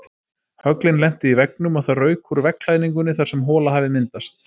Höglin lentu í veggnum og það rauk úr veggklæðningunni þar sem hola hafði myndast.